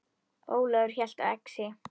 Ólafur hélt á exi.